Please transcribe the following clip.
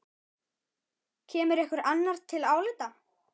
Kemur einhver annar til álita?